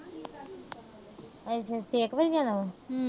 ਅੱਛਾ। ਤੁਸੀਂ ਇੱਕ ਵਜੇ ਜਾਣਾ ਹੁਣ।